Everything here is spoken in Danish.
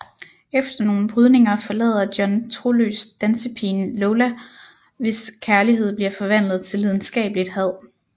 Efter nogle brydninger forlader John troløst dansepigen Lola hvis kærlighed bliver forvandlet til lidenskabeligt had